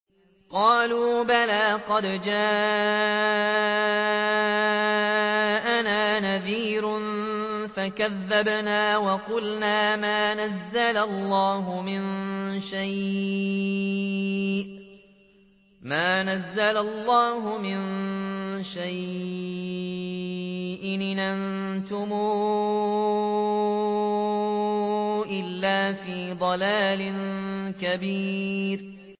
قَالُوا بَلَىٰ قَدْ جَاءَنَا نَذِيرٌ فَكَذَّبْنَا وَقُلْنَا مَا نَزَّلَ اللَّهُ مِن شَيْءٍ إِنْ أَنتُمْ إِلَّا فِي ضَلَالٍ كَبِيرٍ